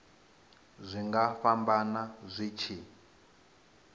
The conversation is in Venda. zwi nga fhambana zwi tshi